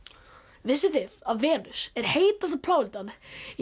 vissuð þið að Venus er heitasta plánetan í